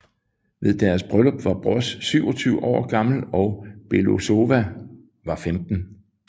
Ved deres bryllup var Broz 27 år gammel og Belousova var 15